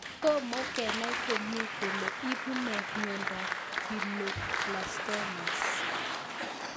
Tomo kenai komie kole ipu nee miondop Glioblastomas